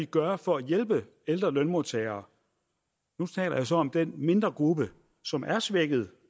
gøre for at hjælpe ældre lønmodtagere nu taler jeg så om den mindre gruppe som er svækket